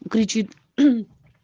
кричит